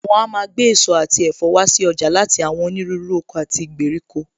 Wọn a máa gbé èso àti ẹ̀fọ́ wá si ọjà láti àwọn onírúurú oko àti ìgbèríko